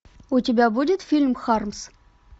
у тебя будет фильм хармс